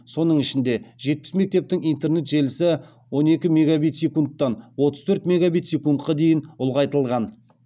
оның ішінде жетпіс мектептің интернет желісі он екі мегабит секундтан отыз төрт мегабит секундқа дейін ұлғайтылған